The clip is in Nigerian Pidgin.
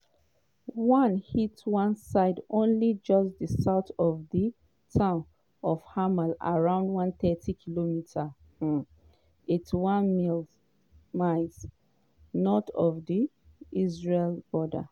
di lebanese health ministry say 492 pipo die including 35 children making monday di deadliest day of di israel-hezbollah conflict since 2006.